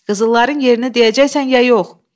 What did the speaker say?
Qızılların yerini deyəcəksən ya yox?